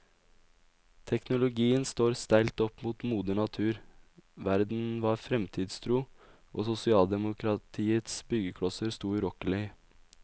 Teknologien står steilt opp mot moder natur, verden var fremtidstro, og sosialdemokratiets byggeklosser sto urokkelige.